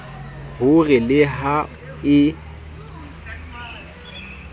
ho re le ha e